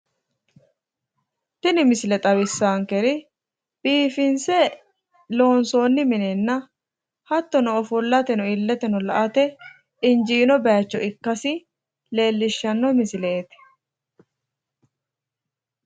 Tini misile xawissaankeri biifinse loonssoonni minenna hattono ofollateno illeteno la"ate injiino bayiichcho ikkasi leellishshanno misileeti